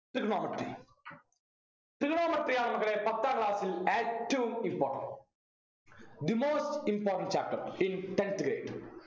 trigonometry trigonometry ആണ് മക്കളെ പത്താം class ൽ ഏറ്റവും important the most important chapter since tenth grade